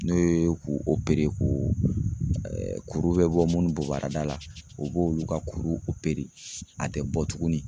N'o ye k'o ko kuru be bɔ munnu bobarada la o b'olu ka kuru a te bɔ tuguni.